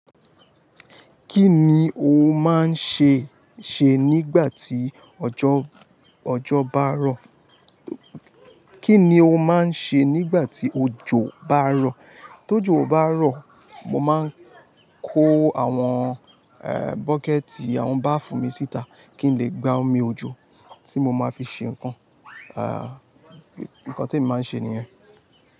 Kín ni o má ń ṣe nígbà tí òjò barọ̀? Kí ni o máa ń ṣe nígbà tí òjò bá rọ̀? Tó jò bá rọ̀, mo máa ń kó àwọn, e, bucket, àwọn baafun mi síta kí n lè gba omi òjò tí mo máa fi ṣe ǹkan. Nǹkan tí èmi máa ń ṣe nìyẹn.